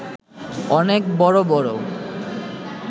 অনেক বড় বড়